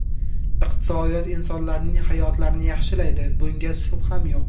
Iqtisodiyot insonlarning hayotlarini yaxshilaydi, bunga shubham yo‘q.